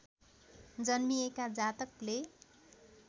जन्मिएका जातकले